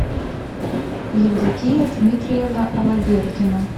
евдокия дмитриевна алабердина